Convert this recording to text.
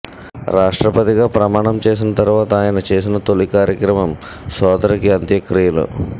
రాష్ట్రపతిగా ప్రమాణం చేసిన తరువాత ఆయన చేసిన తొలి కార్యక్రమం సోదరికి అంత్యక్రియలు